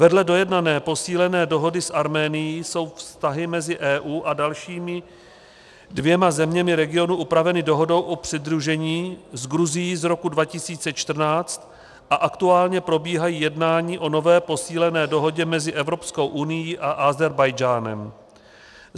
Vedle dojednané posílené dohody s Arménií jsou vztahy mezi EU a dalšími dvěma zeměmi regionu upraveny Dohodou o přidružení s Gruzií z roku 2014 a aktuálně probíhají jednání o nové, posílené Dohodě mezi Evropskou unií a Ázerbájdžánem.